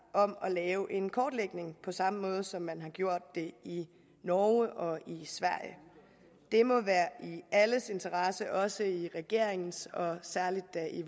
om at lave en kortlægning på samme måde som man har gjort det i norge og i sverige det må være i alles interesse også i regeringens og særlig da i